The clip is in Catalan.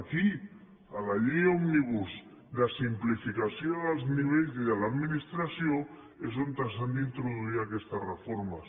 aquí a la llei òmnibus de simplificació dels nivells i de l’administració és on s’han d’introduir aquestes reformes